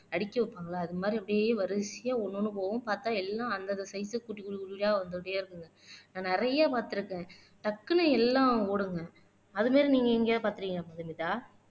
அடிக்க வைப்பாங்களா அது மாதிரி அப்படியே வரிசையா ஒண்ணு போகும் பார்த்தா எல்லாம் அந்தந்த சைடுல வந்துட்டே இருக்கும் நான் நிறைய பார்த்து இருக்கேன் டக்குன்னு எல்லாம் ஓடுங்க அது மாதிரி நீங்க எங்கேயாவது பார்த்திருக்கீங்களா மதுமிதா